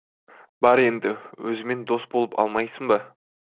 бар енді өзімен дос болып алмайсың ба